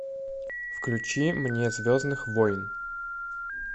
включи мне звездных войн